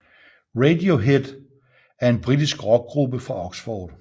Radiohead er en britisk rockgruppe fra Oxford